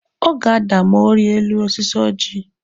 Ọ ga-ada ma ọ rie elu osisi oji.